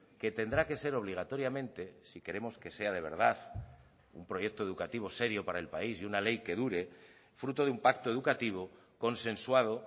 que tendrá que ser obligatoriamente si queremos que sea de verdad un proyecto educativo serio para el país y una ley que dure fruto de un pacto educativo consensuado